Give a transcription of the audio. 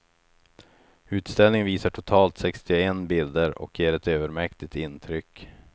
Utställningen visar totalt sextioen bilder och ger ett övermäktigt intryck.